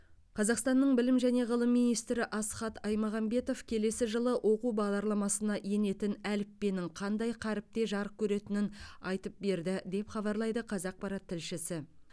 қазақстанның білім және ғылым министрі асхат аймағамбетов келесі жылы оқу бағдарламасына енетін әліппенің қандай қаріпте жарық көретінін айтып берді деп хабарлайды қазақпарат тілшісі